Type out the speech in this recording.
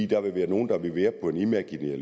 der vil være nogle der vil være på en imaginær